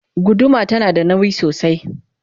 guduma tana da nauyi sosai